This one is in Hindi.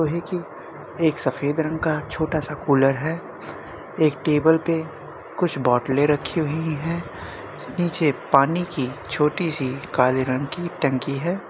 लोहे की एक सफ़ेद रंग का छोटा सा कुलर है। एक टेबल पे कुछ बोतले रखी हुई हैं। नीचे में पानी की छोटी सी काले रंग की टंकी है।